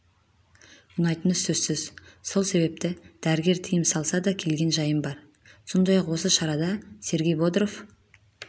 ұнайтыны сөзсіз сол себепті дәрігер тыйым салса дакелген жайым бар сондай-ақ осы шарада сергей бодров